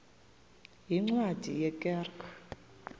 yeencwadi ye kerk